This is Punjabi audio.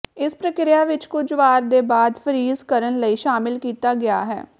ਇਸ ਪ੍ਰਕਿਰਿਆ ਵਿਚ ਕੁਝ ਵਾਰ ਦੇ ਬਾਅਦ ਫਰੀਜ ਕਰਨ ਲਈ ਸ਼ਾਮਿਲ ਕੀਤਾ ਗਿਆ ਹੈ